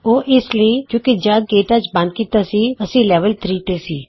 ਉਹ ਇਸ ਲਈ ਕਿਉਂ ਕਿ ਜਦ ਅਸੀਂ ਕੇ ਟੱਚ ਬੰਦ ਕੀਤਾ ਸੀ ਉਸ ਵੇਲੇ ਅਸੀਂ ਲੈਵਲ 3 ਤੇ ਸੀ